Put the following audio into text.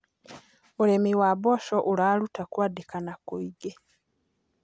Ũrĩmĩ wa mboco ũrarũta kwandĩkana kũĩngĩ